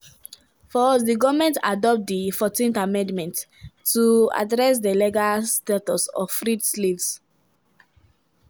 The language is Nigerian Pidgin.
for us goment adopt di14th amendment to address di legal status of freed slaves.